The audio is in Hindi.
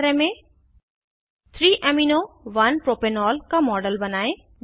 नियत कार्य में 3 amino 1 प्रोपेनॉल का मॉडल बनायें